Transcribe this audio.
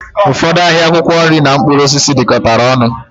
Ụfọdụ ahịa akwụkwọ nri na mkpụrụ osisi dikọtara ọnụ